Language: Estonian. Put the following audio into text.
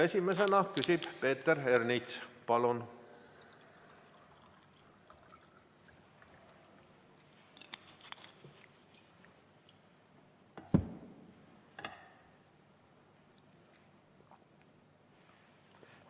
Esimesena küsib Peeter Ernits, palun!